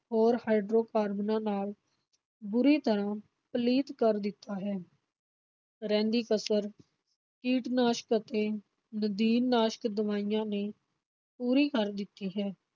ਹੋਰ ਹਾਈਡਰੋਕਾਰਬਨਾਂ ਨਾਲ ਬੁਰੀ ਤਰ੍ਹਾਂ ਪਲੀਤ ਕਰ ਦਿੱਤਾ ਹੈ ਰਹਿੰਦੀ ਕਸਰ ਕੀਟਨਾਸ਼ਕ ਅਤੇ ਨਦੀਨਨਾਸ਼ਕ ਦਵਾਈਆਂ ਨੇ ਪੂਰੀ ਕਰ ਦਿੱਤੀ ਹੈ।